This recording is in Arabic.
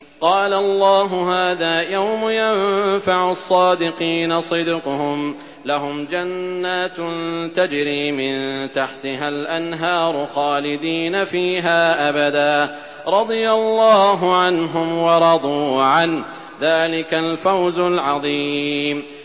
قَالَ اللَّهُ هَٰذَا يَوْمُ يَنفَعُ الصَّادِقِينَ صِدْقُهُمْ ۚ لَهُمْ جَنَّاتٌ تَجْرِي مِن تَحْتِهَا الْأَنْهَارُ خَالِدِينَ فِيهَا أَبَدًا ۚ رَّضِيَ اللَّهُ عَنْهُمْ وَرَضُوا عَنْهُ ۚ ذَٰلِكَ الْفَوْزُ الْعَظِيمُ